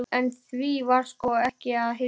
En því var sko ekki að heilsa.